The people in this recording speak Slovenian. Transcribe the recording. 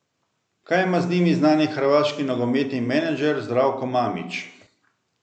Kaj ima z njimi znani hrvaški nogometni menedžer Zdravko Mamić?